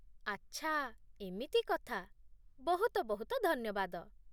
ଆଚ୍ଛା, ଏମିତି କଥା ବହୁତ ବହୁତ ଧନ୍ୟବାଦ